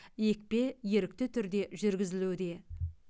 екпе ерікті түрде жүргізілуде